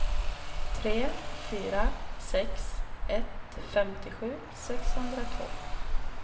tre fyra sex ett femtiosju sexhundratvå